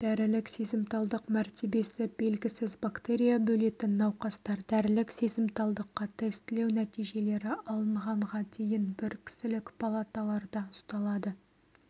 дәрілік сезімталдық мәртебесі белгісіз бактерия бөлетін науқастар дәрілік сезімталдыққа тестілеу нәтижелері алынғанға дейін бір кісілік палаталарда ұсталады